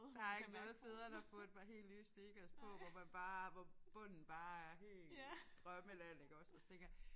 Der ikke noget bedre end at få et par helt nye sneakers på hvor man bare hvor bunden bare er helt drømmeland iggås og så tænker jeg